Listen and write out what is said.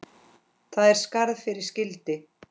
Það er skarð fyrir skildi.